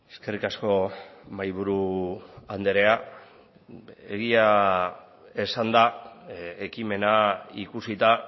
eskerrik asko mahaiburu andrea egia esanda ekimena ikusita